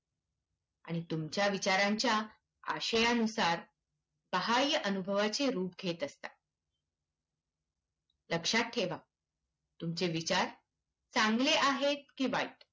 आणि तुमच्या विचारांच्या आशयांनुसार बाह्य अनुभवाचे रूप घेत असतात. लक्षात ठेवा. तुमचे विचार चांगले आहेत किंवा वाईट